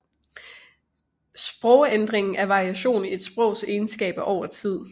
Sprogændring er variation i et sprogs egenskaber over tid